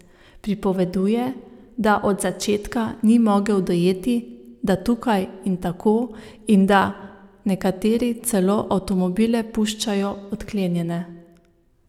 Pripoveduje, da od začetka ni mogel dojeti, da tukaj ni tako in da nekateri celo avtomobile puščajo odklenjene.